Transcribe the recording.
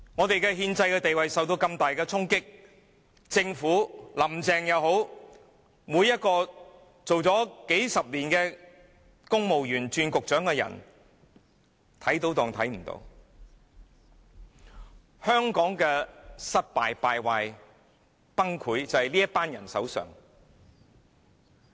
本港的憲制地位受到如此大的衝擊，政府官員或林鄭月娥工作數十年，這些由公務員再轉為擔任局長的人看到問題也裝作看不到，香港的失敗、敗壞、崩潰就是源於這群人。